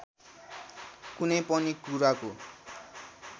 कुनै पनि कुराको